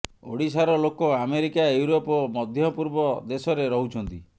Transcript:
ଓଡ଼ିଶାର ଲୋକ America Europe ଓ ମଧ୍ୟ ପୂର୍ବ ଦେଶରେ ରହୁଛନ୍ତି